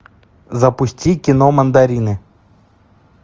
запусти кино мандарины